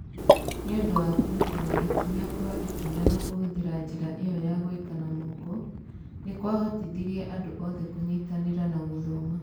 Nĩ ũndũ wa kũrutana ikinya kwa ikinya na kũhũthĩra njĩra ĩyo ya gwĩka na moko, nĩ kwahotithirie andũ othe kũnyitanĩra na gũthoma